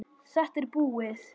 Þetta er búið.